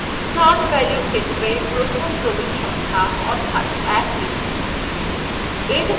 start value ক্ষেত্রে প্রথম ক্রমিক সংখ্যা অর্থাৎ 1 লিখুন